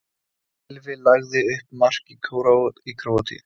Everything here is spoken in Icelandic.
Gylfi lagði upp mark í Króatíu